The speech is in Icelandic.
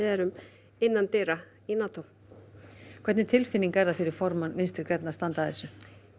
erum innan dyra í Nató hvernig tilfinning er það fyrir formann Vinstri grænna að standa að þessu